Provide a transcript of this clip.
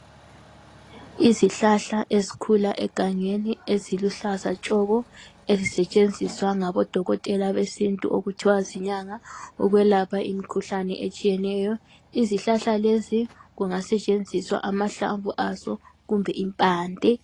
Izihlahla ezikhula egangeni eziluhlaza tshoko ezisetshenziswa ngabodokotela besintu okuthiwa zinyanga ukwelapha imikhuhlane etshiyetshiyeneyo. Izihlahla lezi kungasetshenziswa amahlamvu azo kumbe impande.